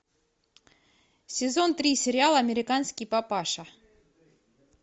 сезон три сериала американский папаша